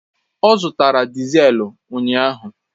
Ọ zụtara diselu ụnyaahụ